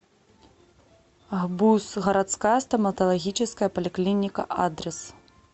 гбуз городская стоматологическая поликлиника адрес